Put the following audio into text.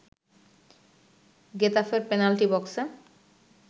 গেতাফের penalty বক্সে